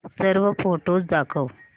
सर्व फोटोझ दाखव